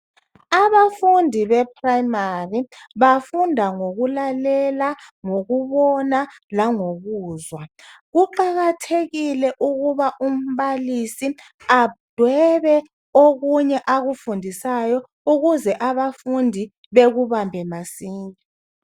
Abafundi be primary bafunda ngokulalela ngokubona langokuzwa. Kuqakathekile ukuthi umbalisi adwebe okunye akufundisayo ukuze abafundi bekubambe masinya.